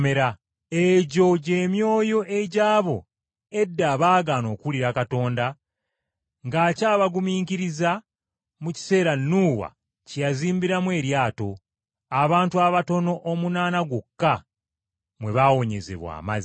Egyo gy’emyoyo egy’abo edda abaagaana okuwulira Katonda ng’akyabagumiikiriza, mu kiseera Nuuwa kye yazimbiramu eryato, abantu abatono, omunaana gwokka, mwe baawonyezebwa amazzi.